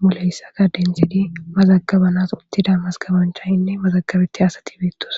muleyssaka dentidi mazagabanas uttida mazkabanchaynne mazagabeti asati biittosa